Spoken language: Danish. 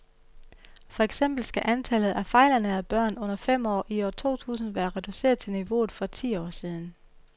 For eksempel skal antallet af fejlernærede børn under fem år i år to tusind være reduceret til niveauet for for ti år siden.